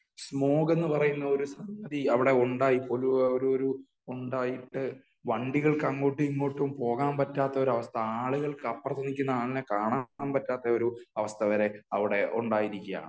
സമോക് എന്ന് പറയുന്ന ഒരു സംഗതി അവിടെ ഉണ്ടായി പോലൂ ഒരു ഒരു ഉണ്ടായിട്ട് വണ്ടികൾക്ക് അങ്ങോട്ടും ഇങ്ങോട്ടും പോകാൻ പറ്റാത്ത അവസ്ഥ . ആളുകൾക്ക് അപ്പുറത്തിരിക്കുന്ന ആളിനെ കാണാൻ പറ്റാത്ത ഒരു അവസ്ഥ വരെ അവിടെ ഉണ്ടായിരിക്കുകയാണ് .